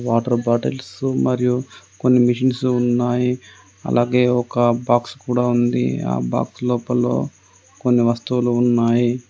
Water bottles మరియు కొన్ని machines ఉన్నాయి. అలాగే ఒక బాక్స్ కూడా ఉంది. ఆ బాక్స్ లోపల కొన్ని వస్తువులు ఉన్నాయి.